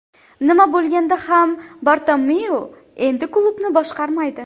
Nima bo‘lganda ham Bartomeu endi klubni boshqarmaydi.